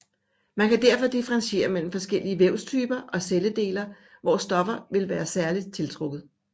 Man kan derfor differentiere imellem forskellige vævstyper og celledeler hvor stoffer ville være særligt tiltrukket